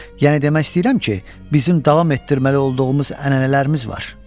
Yəni demək istəyirəm ki, bizim davam etdirməli olduğumuz ənənələrimiz var.